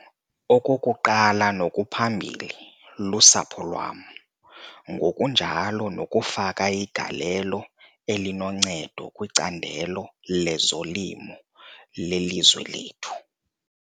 Okokuqala nokuphambili, lusapho lwam, ngokunjalo nokufaka igalelo elinoncedo kwicandelo lezolimo lelizwe lethu.